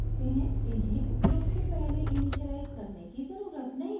इन्हें उपयोग से पहले इनिशिअलाइज़ करने की ज़रुरत नहीं होती है